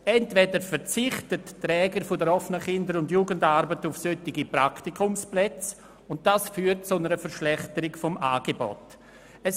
Entweder verzichten die Träger der OKJA auf solche Praktikumsplätze, was zur Verschlechterung des Angebots führt.